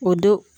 O don